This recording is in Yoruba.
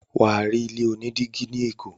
Wà á rí ilé oní dígí ní Èkó.